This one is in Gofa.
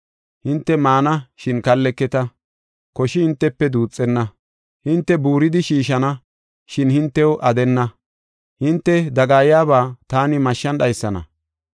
Hinte maana, shin kalleketa; koshi hintefe duuxenna. Hinte buuridi shiishana, shin hintew aadenna; hinte dagayaba taani mashshan dhaysana.